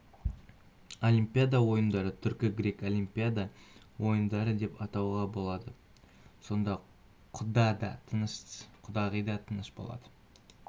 олимпиада ойындарын түркі-гректік олимпиада ойындары деп атауға болады сонда құда да тыныш құдағи да тыныш болады